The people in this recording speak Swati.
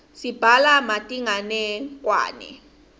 sibhala metinganekwane